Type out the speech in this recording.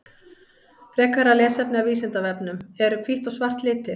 Frekara lesefni af Vísindavefnum: Eru hvítt og svart litir?